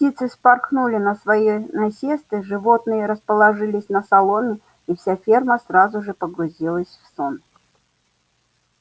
птицы вспорхнули на свои насесты животные расположились на соломе и вся ферма сразу же погрузилась в сон